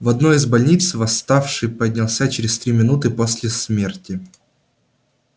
в одной из больниц восставший поднялся через три минуты после смерти